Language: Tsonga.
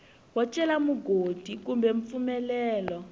wo cela mugodi kumbe mpfumelelo